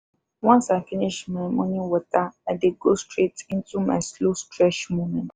once i finish my morning water i dey go straight into my slow stretch moment.